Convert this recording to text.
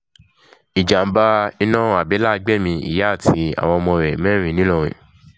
ìjàḿbà iná àbẹ́là gbẹ̀mí ìyá àtàwọn ọmọ rẹ̀ mẹ́rin ńìlọrin